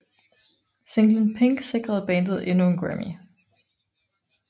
Singlen Pink sikrede bandet endnu en Grammy